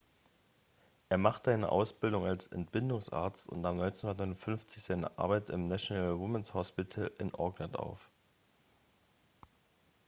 er machte eine ausbildung als entbindungsarzt und nahm 1959 seine arbeit im national women's hospital in auckland auf